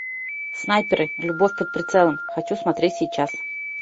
снайперы любовь под прицелом хочу смотреть сейчас